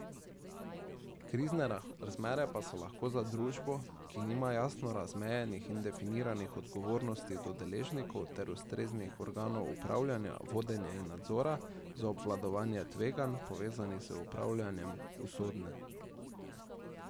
Krizne razmere pa so lahko za družbo, ki nima jasno razmejenih in definiranih odgovornosti do deležnikov ter ustreznih organov upravljanja, vodenja in nadzora, za obvladovanje tveganj, povezanih z upravljanjem, usodne.